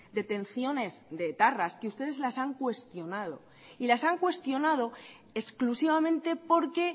detenciones de etarras que ustedes las han cuestionado y las han cuestionado exclusivamente porque